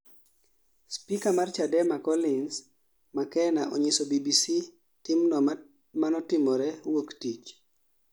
spika mar Chadema Colins Makena onyiso BBC timno manotimre wuok tich